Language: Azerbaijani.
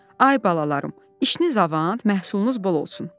“Ay balalarım, işiniz avan, məhsulunuz bol olsun.”